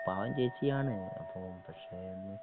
പാവം ചേച്ചിയാണ് അപ്പൊ പക്ഷെ